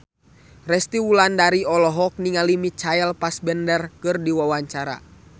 Resty Wulandari olohok ningali Michael Fassbender keur diwawancara